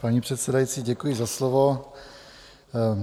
Paní předsedající, děkuji za slovo.